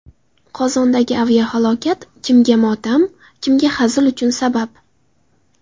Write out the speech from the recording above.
Qozondagi aviahalokat: kimga motam, kimga hazil uchun sabab.